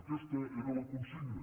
aquesta era la consigna